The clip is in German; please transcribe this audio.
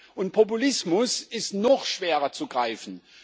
Und Populismus ist noch schwerer zu greifen.